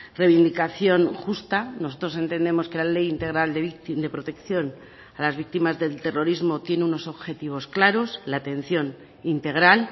reivindicación justa nosotros entendemos que la ley integral de protección a las víctimas del terrorismo tiene unos objetivos claros la atención integral